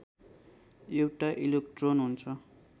एउटा इलेक्ट्रोन हुन्छ